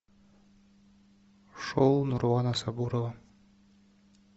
шоу нурлана сабурова